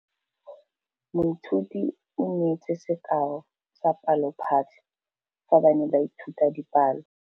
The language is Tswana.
Moithuti o neetse sekaô sa palophatlo fa ba ne ba ithuta dipalo.